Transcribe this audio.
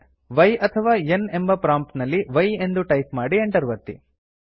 Y ಅಥವಾ N ಎಂಬ prompt ನಲ್ಲಿ y ಎಂದು ಟೈಪ್ ಮಾಡಿ Enter ಒತ್ತಿ